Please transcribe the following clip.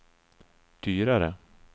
dyrare